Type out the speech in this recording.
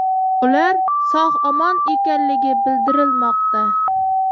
Ular sog‘-omon ekanligi bildirilmoqda.